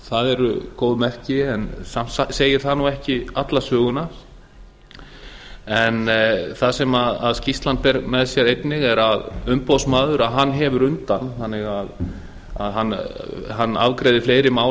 það eru góð merki en samt segir það nú ekki alla söguna en það sem skýrslan ber með sér einnig er að umboðsmaður hefur undan þannig að hann afgreiðir fleiri mál